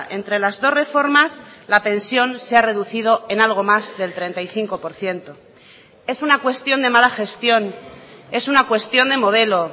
entre las dos reformas la pensión se ha reducido en algo más del treinta y cinco por ciento es una cuestión de mala gestión es una cuestión de modelo